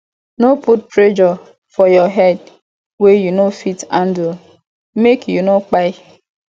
no put pressure for your head wey you no fit handle make you no kpai